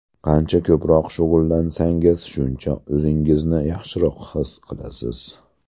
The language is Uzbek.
Qancha ko‘proq shug‘ullansangiz, shuncha o‘zingizni yaxshiroq his qilasiz.